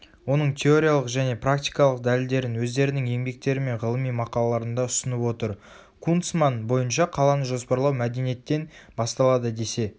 оның теориялық және практикалық дәлелдерін өздерінің еңбектері мен ғылыми мақалаларында ұсынып отыр.кунцман бойынша қаланы жоспарлау мәдениеттен басталады десе